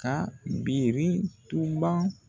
A birintuba